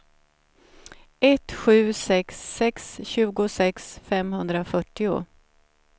ett sju sex sex tjugosex femhundrafyrtio